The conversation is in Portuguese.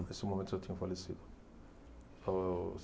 Nesse momento, já tinham falecido.